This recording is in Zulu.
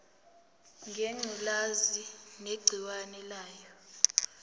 ngengculazi negciwane layo